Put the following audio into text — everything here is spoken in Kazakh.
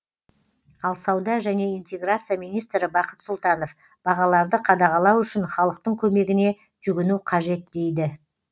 ал сауда және интеграция министрі бақыт сұлтанов бағаларды қадағалау үшін халықтың көмегіне жүгіну қажет дейді